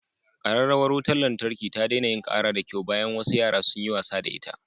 Kararrawar wutar lantarki ta daina yin kara da kyau bayan wasu yara sun yi wasa da ita.